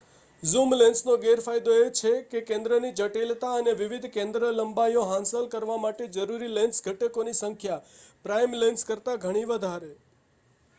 zoom લેન્સનો ગેરફાયદો એ છે કે કેન્દ્રની જટિલતા અને વિવિધ કેન્દ્રલંબાઇઓ હાંસલ કરવા માટે જરૂરી લેન્સ ઘટકોની સંખ્યા પ્રાઇમ લેન્સ કરતાં ઘણી વધારે